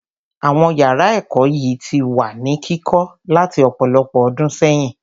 Àwọn yàrá ẹ̀kọ́ yìí ti wà ní kíkọ́ láti ọ̀pọ̀lọpọ̀ ọdún sẹ́yìn.